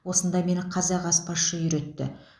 осында мені қазақ аспазшы үйретті